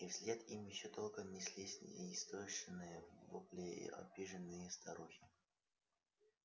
и вслед им ещё долго неслись неистошные вопли обиженной старухи